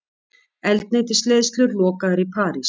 Eldsneytisleiðslur lokaðar í París